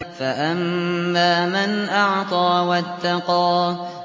فَأَمَّا مَنْ أَعْطَىٰ وَاتَّقَىٰ